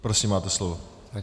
Prosím, máte slovo.